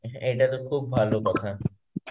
এটা তো খুব ভালো কথা.